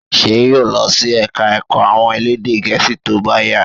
Ṣé yóò lọ sí ẹ̀ka ẹ̀kọ́ àwọn elédè gẹ̀ẹ́sì tó bá yá?